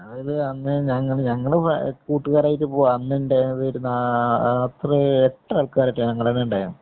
അന്നേഞങ്ങള് കൂട്ടുകാരായിട്ടു പോവാ അന്നുണ്ടായിരുന്നത് ഒരു നാ എത്ര എട്ട് ആള്‍ക്കാരോ മറ്റോ ആരുന്നു ഞങ്ങടെനിന്നുണ്ടായത്.